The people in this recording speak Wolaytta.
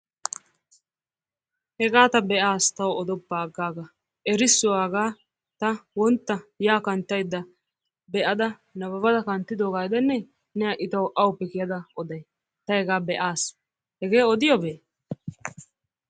Hegaa ta be'aas tawu odoppa aggaaga. Erissuwa hagaa ta wontta yaa kanttayidda be'ada nababada kanttidiogaa gidennee? Ne ha'i tawu awuppe kiyada oday? Ta hegaa be'aas. Hegee odiyobee?